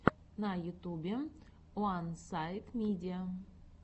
на ютюбе уансайдмидиа